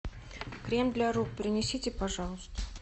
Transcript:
крем для рук принесите пожалуйста